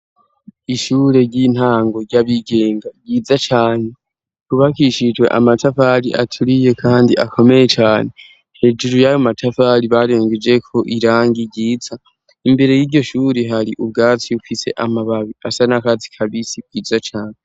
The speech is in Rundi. Ishure ry'intango ry'abigenga ryiza cane yubakishijwe amatafali aturiye, kandi akomeye cane hejuru y'abo matafari barengejeko irangi ryiza imbere y'iryo shuri hari ubwatsi bufise amababi asa n'akazi ka bisi bwiza cane.